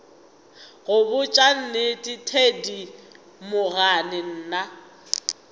go botša nnete thedimogane nna